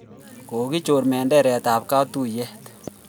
Kokichor menderet ab katuyet